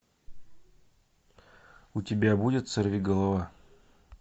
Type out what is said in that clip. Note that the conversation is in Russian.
у тебя будет сорвиголова